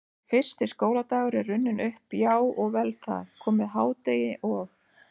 Fyrsti skóladagur er runninn upp, já og vel það, komið hádegi og